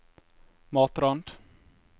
Matrand